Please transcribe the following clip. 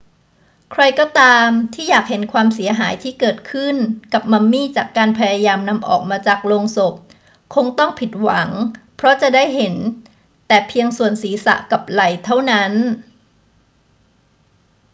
ใครก็ตามที่อยากเห็นความเสียหายที่เกิดขึ้นกับมัมมี่จากการพยายามนำออกมาจากโลงศพคงต้องผิดหวังเพราะจะเห็นได้แต่เพียงส่วนศีรษะกับไหล่เท่านั้น